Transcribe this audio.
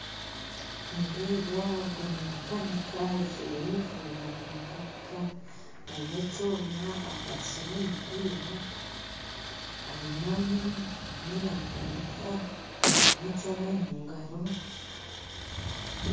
Nindeeba ogu ni makanika ajwire yunifoomu yabamakanika aine ekyooma akwastire omumpiira ainami arimu nakanika aine ekyooma omugaro